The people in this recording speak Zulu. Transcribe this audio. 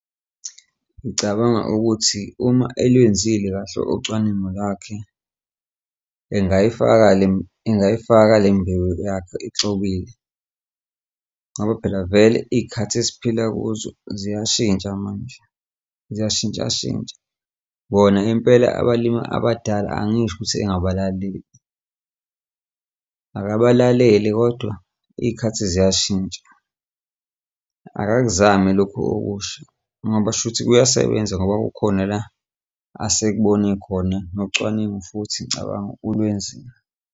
Ngicabanga ukuthi uma elenzile kahle ucwaningo lakhe engayifaka engayifaka le mbewu yakhe exubile, ngoba phela vele iy'khathi esiphila kuzo ziyashintsha manje, ziyashintshashintsha, bona impela abalimi abadala angisho ukuthi engabalaleli akabalalele kodwa iy'khathi ziyashintsha. Akakuzame lokhu okusha ngoba shuthi kuyasebenza ngoba kukhona la asekubone khona nocwaningo futhi ngicabanga ulwenzile.